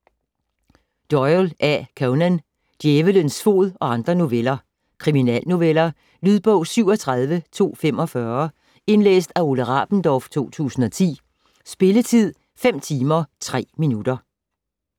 Doyle, A. Conan: Djævelens fod og andre noveller Kriminalnoveller. Lydbog 37245 Indlæst af Ole Rabendorf, 2010. Spilletid: 5 timer, 3 minutter.